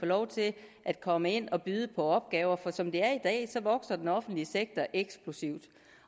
lov til at komme ind og byde på opgaver for som det er i dag vokser den offentlige sektor eksplosivt